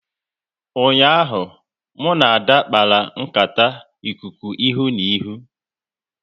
Ụnyaahụ, mụ na Ada kpara nkata ikuku ihu na ihu